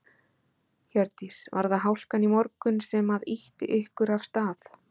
Hjördís: Var það hálkan í morgun sem að ýtti ykkur af stað?